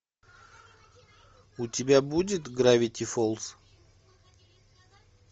у тебя будет гравити фолз